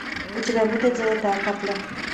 у тебя будет золотая капля